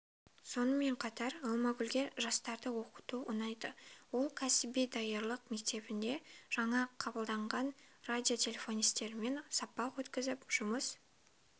соынмен қатар алмагүлге жастарды оқыту ұнайды ол кәсіби даярлық мектебінде жаңа қабылданған радиотелефонисттермен сабақ өткізіп жұмыс